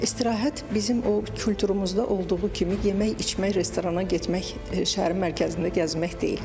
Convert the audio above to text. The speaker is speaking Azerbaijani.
İstirahət bizim o kulturumuzda olduğu kimi yemək, içmək, restorana getmək, şəhərin mərkəzində gəzmək deyil.